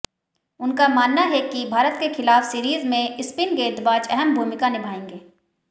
उनका मानना है की भारत के खिलाफ सीरीज में स्पिंन गेंदबाज अहम भूमिका निभाएंगे